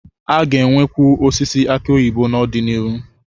A ga-enwekwu osisi aki oyibo n'ọdịnihu.